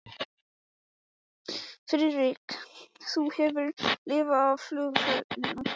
Friðrik, þú hefur lifað af flugferðina